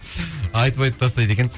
айтып айтып тастайды екен